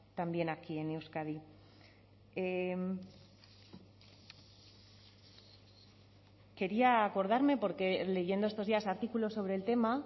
también aquí en euskadi quería acordarme porque leyendo estos días artículos sobre el tema